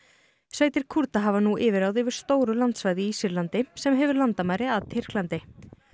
sveitir Kúrda hafa nú yfirráð yfir nokkuð stóru landsvæði í Sýrlandi sem hefur landamæri að Tyrklandi